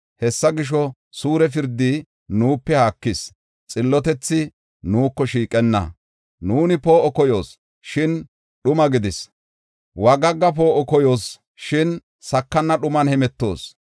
Hessa gisho, suure pirdi nuupe haakis; xillotethi nuuko shiiqenna. Nuuni poo7o koyoos, shin dhuma gidis; wagagga poo7o koyoos, shin sakana dhuman hemetoos.